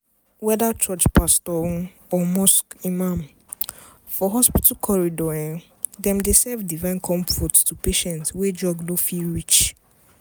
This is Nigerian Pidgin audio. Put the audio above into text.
whether church pastor or mosque imam for hospital corridor dem dey serve divine comfort to patients wey drugs no fit reach.